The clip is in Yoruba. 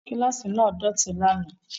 Kíláàsì náà dọ̀tí lánàá